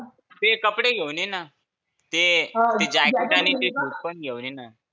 ते कपडे घेऊन ये ना. ते ते जॅकेट आणि ते बुट पण घेऊन ये ना.